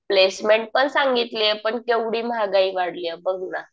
Placement पण सांगितलीये. पण केवढी महागाई वाढलीये बघ ना.